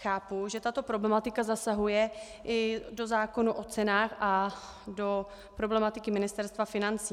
Chápu, že tato problematika zasahuje i do zákona o cenách a do problematiky Ministerstva financí.